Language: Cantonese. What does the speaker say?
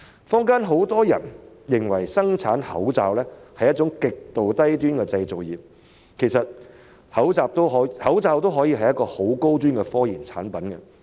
坊間很多人認為生產口罩是一種極度低端的製造業，其實口罩亦可以是一種高端科研產品。